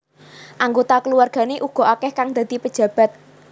Anggota keluargane uga akeh kang dadi pejabat